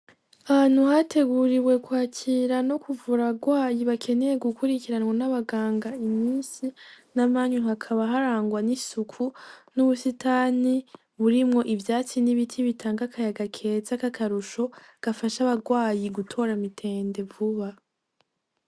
Ahantu hateguriwe kwakira no kuvura abarwayi , bakeneye gukurikiranwa n’abaganga imisi namanyu ,hakaba harangwa n’isuku n’ubusitani burimwo ivyatsi n’ibiti bitanga akayaga keza kakarusho gafasha abarwayi gutora mitende vuba.